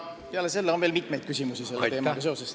Peale selle on meil veel mitmeid küsimusi selle teemaga seoses.